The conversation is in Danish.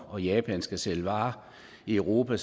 og japan skal sælge varer i europa